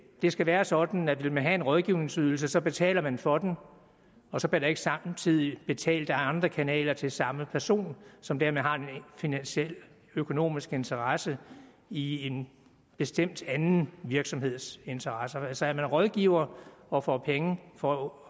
skal være sådan at vil man have en rådgivningsydelse betaler man for den og så bliver der ikke samtidig betalt ad andre kanaler til samme person som dermed har en finansiel økonomisk interesse i en bestemt anden virksomheds interesser altså er man rådgiver og får penge for